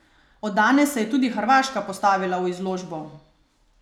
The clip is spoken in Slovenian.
Od danes se je tudi hrvaška postavila v izložbo!